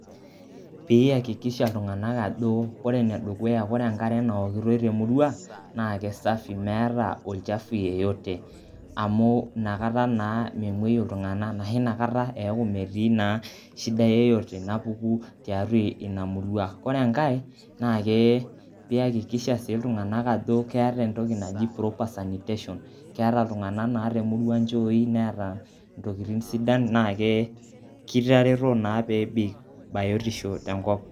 Pee ihakikisha iltung'anak ajo ore ene dukuya, kore enkare naokitoi te murrua naake safi meeta olchafu yeyote amu inakata naa memueyu iltung'anak anashe inakata eeku meti naa shida, yeyote napuku tiatua ina murrua. kore enkae, naake piikakisha sii iltung'anak ajo keeta entoki naji proper sanitation, keeta iltung'anak naa te murrua inchooi, neeta ntokitin sidan naake kitaretoo naa peebik bayotisho tenkop.